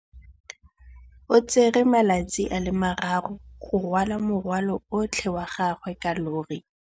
O tsere malatsi a le marraro go rwala morwalo otlhe wa gagwe ka llori.